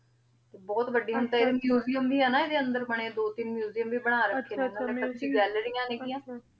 ਤੇ ਬੋਹਤ ਵਾਦੀ ਮੁਸੇਯਮ ਵੀ ਹੈ ਨਾ ਏਡੀ ਅੰਦਰ ਬਨੀ ਹੋਆਯ ਦੋ ਤੀਨ ਮੁਸੇਯਮ ਵੀ ਬਣਾ ਰਾਖੇ ਨੇ ਆਚਾ ਆਚਾ ਮਤਲਬ ਕੇ ਗਾਲ੍ਲੇਰਿਯਾਂ ਨੇਗਿਯਾਂ